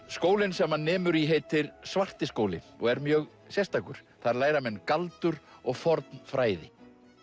skólinn sem hann nemur í heitir Svartiskóli og er mjög sérstakur þar læra menn galdur og forn fræði